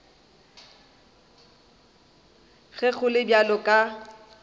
ge go le bjalo ka